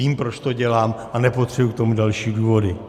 Vím, proč to dělám, a nepotřebuji k tomu další důvody.